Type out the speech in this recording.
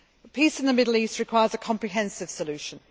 Peace in the Middle East requires a comprehensive solution.